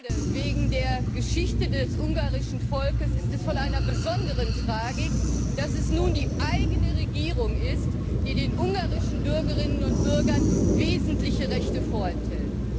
Gerade wegen der Geschichte des ungarischen Volkes ist es von einer besonderen Tragik, dass es nun die eigene Regierung ist, die den ungarischen Bürgerinnen und Bürgern wesentliche Rechte vorenthält.